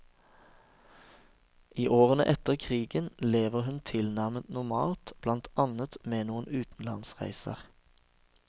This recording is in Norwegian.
I årene etter krigen lever hun tilnærmet normalt, blant annet med noen utenlandsreiser.